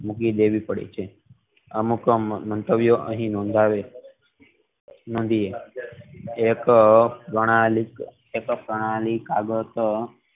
મૂકી દેવી પડી છે અમુક મંતવ્યો અહીં નોંધાયેલ છે એક પ્રણાલી કાગળ પર